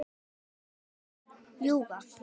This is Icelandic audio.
Lofa eða ljúga?